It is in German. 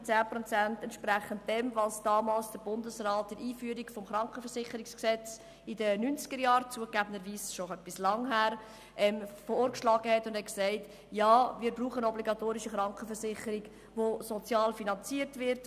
Vielmehr entsprechen sie dem, was der Bundesrat bei der Einführung des Bundesgesetzes über die Krankenversicherung (KVG) in den 1990er-Jahren – das ist zugegebenermassen schon lange her – vorgeschlagen und gesagt hat, nämlich: Ja, wir brauchen eine obligatorische Krankenversicherung, die sozial finanziert wird.